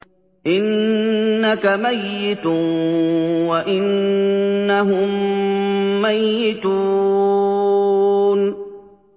إِنَّكَ مَيِّتٌ وَإِنَّهُم مَّيِّتُونَ